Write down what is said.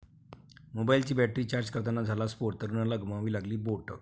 मोबाईलची battery charge करताना झाला स्फोट, तरुणाला गमवावी लागली बोटं!